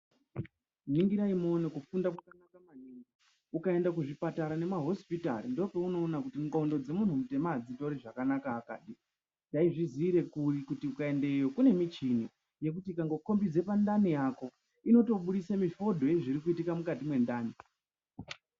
Ningirai muone kufunda kwakanaka maningi, ukaenda kuzvipatara nemahosipitari ndipo peunoona kuti ngondo dzemunhu mutema adzitori zvakanaka akadi, taizviziire kuri kuti ukaendeyo kune michini yekuti ikango khombidza pandani yako, inongobudisa rekhodhi yezviri kuitika mukati mwendani.